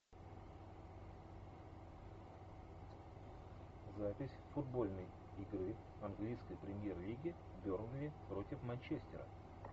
запись футбольной игры английской премьер лиги бернли против манчестера